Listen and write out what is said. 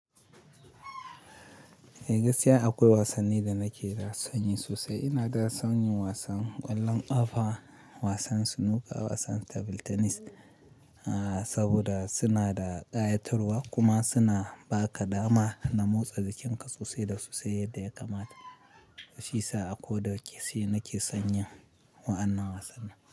Eh gaskiya akwai wasanni da nake son yi sosai. Ina da son yin wasan ƙwallon ƙafa, wasan snooker, wasan table tennis. Haaa, saboda suna da ƙayatarwa kuma suna ba ka dama na motsa jikinka sosai da sosai yadda ya kamata. Shi yasa akoda ke shi nake son yin wa'annan wasanni.